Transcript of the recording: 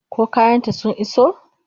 Ko kayan ta sun iso?